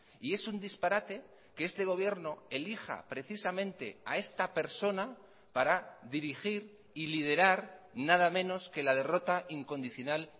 y es un disparate que este gobierno elija precisamente a esta persona para dirigir y liderar nada menos que la derrota incondicional